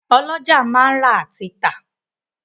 Ọ́lọjá máa ń rà àti tà